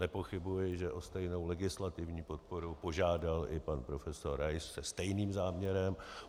Nepochybuji, že o stejnou legislativní podporu požádal i pan prof. Rais se stejným záměrem.